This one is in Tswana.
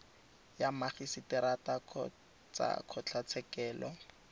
ya magiseterata kgotsa kgotlatshekelo e